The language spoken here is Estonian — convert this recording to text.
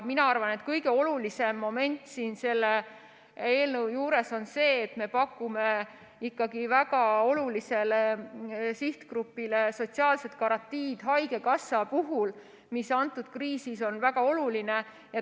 Mina arvan, et kõige olulisem moment selle eelnõu juures on see, et me pakume ikkagi väga olulisele sihtgrupile sotsiaalset garantiid, haigekassat, mis kriisis on väga oluline.